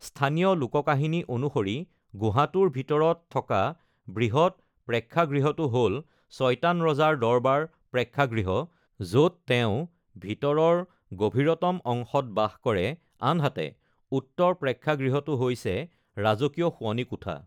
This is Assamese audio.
স্থানীয় লোককাহিনী অনুসৰি গুহাটোৰ ভিতৰত থকা বৃহৎ প্ৰেক্ষাগৃহটো হ'ল চয়তান ৰজাৰ দৰবাৰ প্ৰেক্ষাগৃহ, য’ত তেওঁ ভিতৰৰ গভীৰতম অংশত বাস কৰে আনহাতে উত্তৰ প্ৰেক্ষাগৃহটো হৈছে ৰাজকীয় শোৱনি কোঠা।